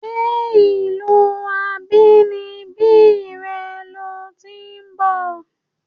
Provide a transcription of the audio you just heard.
Ǹjé ìlúu abínibí re lo ti ń bò?